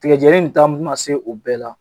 Tigajɛni nin ta ma se o bɛɛ la